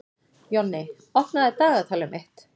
Jonni, opnaðu dagatalið mitt.